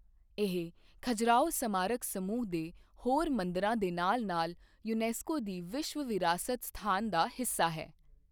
ਇਹ ਖਜੁਰਾਹੋ ਸਮਾਰਕ ਸਮੂਹ ਦੇ ਹੋਰ ਮੰਦਰਾਂ ਦੇ ਨਾਲ ਨਾਲ ਯੂਨੈਸਕੋ ਦੀ ਵਿਸ਼ਵ ਵਿਰਾਸਤ ਸਥਾਨ ਦਾ ਹਿੱਸਾ ਹੈ।